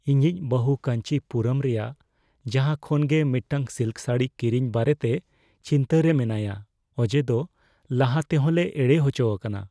ᱤᱧᱤᱡ ᱵᱟᱹᱦᱩ ᱠᱟᱹᱧᱪᱤ ᱯᱩᱨᱚᱢ ᱨᱮᱭᱟᱜ ᱡᱟᱦᱟᱸ ᱠᱷᱚᱱ ᱜᱮ ᱢᱤᱫᱴᱟᱝ ᱥᱤᱞᱠ ᱥᱟᱹᱲᱤ ᱠᱤᱨᱤᱧ ᱵᱟᱨᱮᱛᱮ ᱪᱤᱱᱛᱟᱹ ᱨᱮ ᱢᱮᱱᱟᱭᱼᱟ ᱚᱡᱮᱫᱚ ᱞᱟᱦᱟᱛᱮᱦᱚᱸ ᱞᱮ ᱮᱲᱮ ᱦᱚᱪᱚ ᱟᱠᱟᱱᱟ ᱾